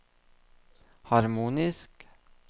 harmonisk